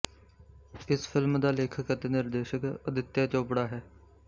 ਇਸ ਫ਼ਿਲਮ ਦਾ ਲੇਖਕ ਅਤੇ ਨਿਰਦੇਸ਼ਕ ਅਦਿੱਤਿਆ ਚੋਪੜਾ ਹੈ